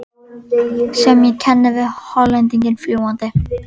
sem ég kenni við Hollendinginn fljúgandi.